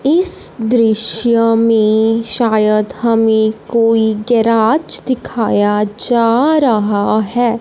इस दृश्य में शायद हमें कोई गैराज दिखाया जा रहा है।